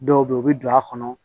Dɔw bɛ yen u bɛ don a kɔnɔ